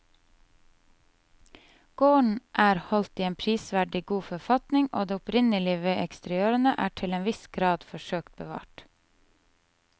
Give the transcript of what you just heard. Gården er holdt i en prisverdig god forfatning og det opprinnelige ved eksteriørene er til en viss grad forsøkt bevart.